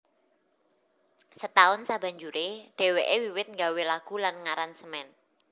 Setahun sabanjuré dhèwèké wiwit nggawé lagu lan ngaransemen